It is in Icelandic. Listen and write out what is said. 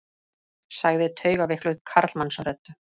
sagði taugaveikluð karlmannsrödd.